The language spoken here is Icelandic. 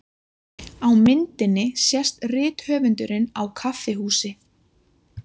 Á myndinni sést rithöfundurinn á kaffihúsi.